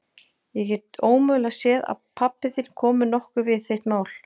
Ég get ómögulega séð að pabbi þinn komi nokkuð við þitt mál.